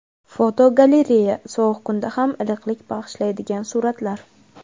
Fotogalereya: Sovuq kunda ham iliqlik bag‘ishlaydigan suratlar.